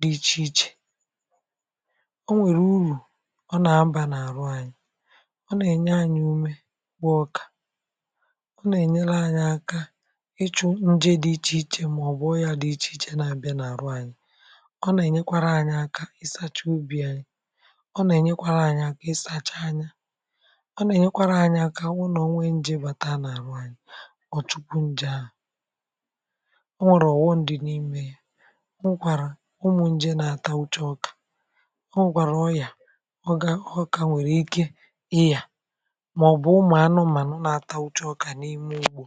dị ichè ichè ọ nwèrè urù ọ na-abà n’àrụ anyị ọ nà-ènye anyị̇ ume bụ ọkà ọ nà-ènyere anyị aka ịchụ̇ ǹje dị ichè ichè màọbụ̀ ọ yȧ dị ichè ichè na-abịa n’àrụ anyị ọ nà-ènyekwara anyị̇ aka ịsacha obì ànyị ọ nà-ènyekwara anyị̇ aka ịsacha anya ọ nà-ènyekwara anyị̇ aka ọbu n’ònwe nje bàta n’àhụ anyị̇ ọ̀ chupu nje àhu o nwèrè ọ̀ghọm dị̇ n’imė yȧ onwekwàrà ụmụ̀ nje nà-atà uche ọkà ọ nwekwàrà ọrịà ọ ga ọ kà nwèrè ike ịyà màọbụ̀ ụmụ̀ anụmànụ̀ nà-atà oshishi ọkà n’ime ụgbọ̀.